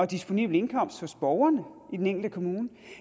disponible indkomst hos borgerne i den enkelte kommune